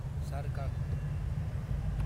Jharkhand